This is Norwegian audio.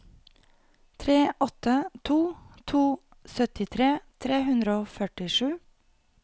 tre åtte to to syttitre tre hundre og førtisju